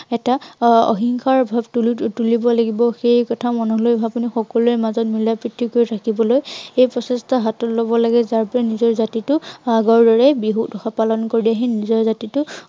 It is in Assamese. এটা আহ অহিংসাৰ ভাৱ তুলিব লাগিব। সেই কথা মনলৈ আনি সকলোৰে মাজত মিলা প্ৰীতি কৰি থাকিবলৈ এই প্ৰচেষ্টা হাতত লব লাগে, যাৰ বাবে জাতিটোৰ নিজৰ হাতলৈ আগৰ দৰে বিহু উৎসৱ পালন কৰি আহি নিজৰ জাতিটোক